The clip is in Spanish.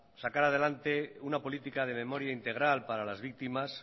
sacar adelante una política de memoria integral para las víctimas